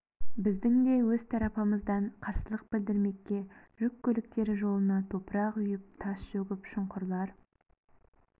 біздің де өз тарапымыздан қарсылық білдірмекке жүк көліктері жолына топырақ үйіп тас төгіп шұңқырлар